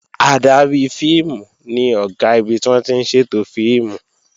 Adarí fíìmù ni Ọ̀gá ibi tí wọ́n ti ń ṣètò fíìmù